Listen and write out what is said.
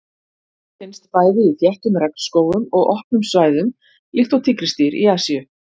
Hann finnst bæði í þéttum regnskógum og opnum svæðum líkt og tígrisdýr í Asíu.